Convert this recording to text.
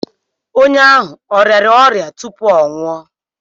Onye ahụ ọ rịara ọrịa tupu ọ nwụọ?